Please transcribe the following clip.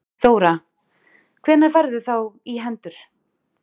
Þóra: Hvenær færðu þá í hendur?